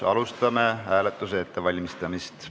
Alustame hääletuse ettevalmistamist.